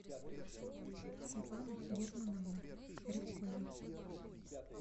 светланы германовны рябковой